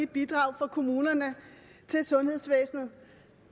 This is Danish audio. bidrag fra kommunerne til sundhedsvæsenet